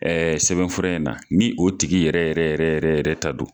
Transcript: sɛbɛnfura in na, ni o tigi yɛrɛ yɛrɛ yɛrɛ yɛrɛ ta don.